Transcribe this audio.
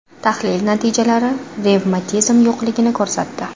Tahlil natijalari revmatizm yo‘qligini ko‘rsatdi.